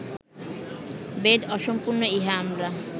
বেদ অসম্পূর্ণ ইহা আমরা